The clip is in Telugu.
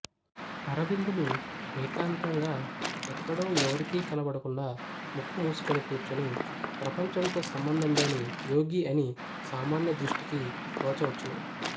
అరవిందులు ఏకాంతంగా ఎక్కడో ఎవరికీ కనబడకుండా ముక్కు మూసుకొని కూర్చొని ప్రపంచంతో సంబంధంలేని యోగి అని సామాన్యదృష్టికి తోచవచ్చును